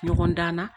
Ɲɔgɔndan na